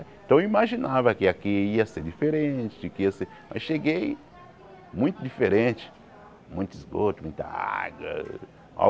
Então eu imaginava que aqui ia ser diferente, que ia ser... Mas cheguei, muito diferente, muito esgoto, muita água.